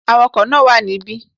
Awakò náà wà níbí